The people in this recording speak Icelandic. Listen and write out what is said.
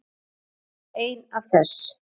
Þetta er ein af þess